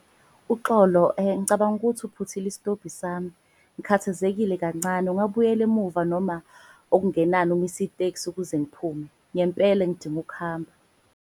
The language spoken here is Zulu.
Uxolo ngicabanga ukuthi uphuthile isitobhi sami ngikhathazekile kancane. Ungabuyela emuva noma okungenani umise iteksi ukuze ngiphume, ngempela ngidinga ukuhamba.